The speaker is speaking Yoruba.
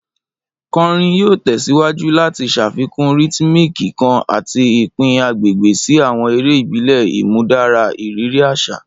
Kọrin yoo tẹsiwaju lati ṣafikun rhythmic kan ati ipin agbegbe si awọn ere ibile, imudara iriri aṣa.